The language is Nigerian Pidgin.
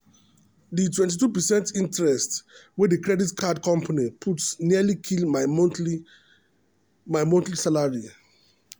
the 22 percent interest wey the credit card company put nearly kill my monthly my monthly salary.